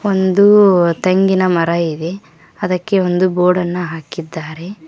ಒಂದು ತೆಂಗಿನ ಮರ ಇದೆ ಅದಕ್ಕೆ ಬೋರ್ಡ್ ಅನ್ನು ಹಾಕಿದ್ದಾರೆ.